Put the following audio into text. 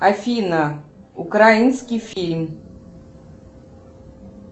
афина украинский фильм